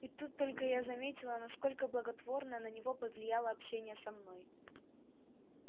и тут только я заметила насколько благотворно на него повлияло общение со мной